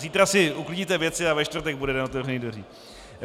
Zítra si uklidíte věci a ve čtvrtek bude den otevřených dveří.